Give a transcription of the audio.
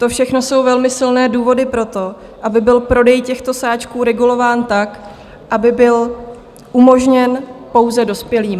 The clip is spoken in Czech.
To všechno jsou velmi silné důvody pro to, aby byl prodej těchto sáčků regulován tak, aby byl umožněn pouze dospělým.